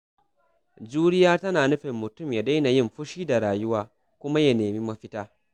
Juriya tana nufin mutum ya daina yin fushi da rayuwa kuma ya nemi mafita.